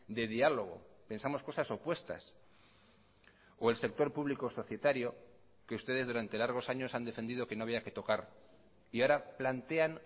de diálogo pensamos cosas opuestas o el sector público societario que ustedes durante largos años han defendido que no había que tocar y ahora plantean